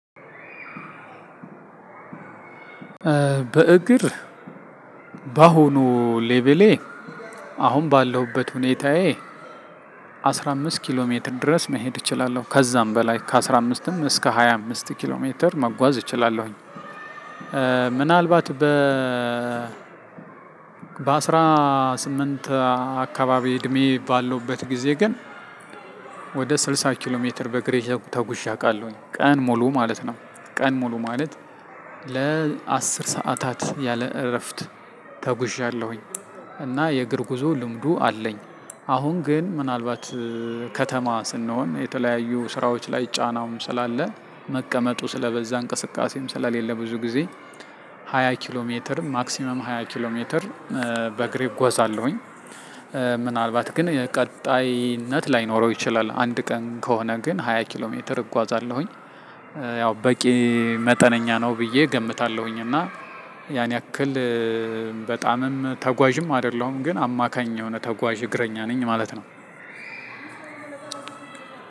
በእግር በአሁኑ ሌቭሌ አሁን ባለሁበት ሁኔታዬ አስራአምስት ኪሎሜትር መሄድ እችላለሁ ከዜም በላይ ከአስራአምስትም እስከ ሀያአምስት ኪሎሜትር መጎዝ እችላለሁኝ። ምናልባት በ በአስራ ስምንት አካባቢ እድሜ ባለውበት ጊዜ ግን። ወደ ስልሳ ኪሎ ሜትር በግሬ ተጉዠ አውቃለሁኝ ቀን ሙሉ ማለት ነው። ቀን ሙሉ ማለት ለአስርሳአታት ያለ እረፍት ተጉዣለሁኝ። እና የእግር ጉዞ ልምዱ አለኝ። አሁን ግን ምናልባት ከተማ ስንሆን የተለያዩ ስራዎች ላይ ጫናውም ስላለ መቀመጡ ስለበዛ እንቅስቃሴም ስለሌለ ብዙ ጊዜ። ሃያ ኪሎ ሜትር ማክሲመም ሃያ ኪሎ ሜትር በግሬ እጎዛለሁኝ። ምናልባት ግን ቀጣይነት ላይኖረው ይችላል አንድ ቀን ከሆነ ግን ሃያ ኪሎ ሜትር እጓዛለሁኝ። ያው በቂ መጠነኛ ነው ብዬ እገምታለሁኝ። እና ያን ያክል በጣምም ተጓዥም አይደለሁም ግን አማካኝ የሆነ ተጓዥ እግረኛ ነኝ ማለት ነው።